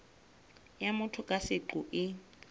ya motho ka seqo e